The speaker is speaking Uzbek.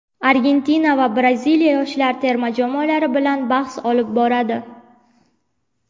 Argentina va Braziliya yoshlar terma jamoalari bilan bahs olib boradi.